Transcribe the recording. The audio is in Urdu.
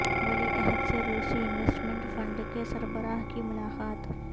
ولی عہد سے روسی انویسٹمنٹ فنڈ کے سربراہ کی ملاقات